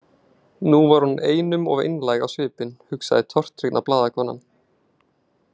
Núna var hún einum of einlæg á svipinn, hugsaði tortryggna blaðakonan.